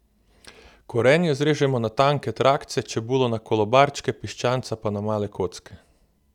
Korenje zrežemo na tanke trakce, čebulo na kolobarčke, piščanca pa na male kocke.